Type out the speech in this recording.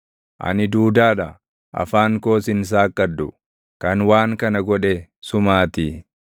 Ani duudaa dha; afaan koos hin saaqqadhu; kan waan kana godhe sumaatii.